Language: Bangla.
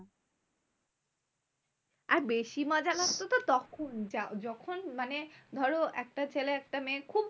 আর বেশি মজা লাগতো তো তখন। যা যখন মানে ধরো একটা ছেলে একটা মেয়ে খুব